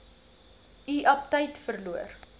u aptyt verloor